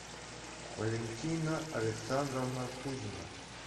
валентина александровна кузина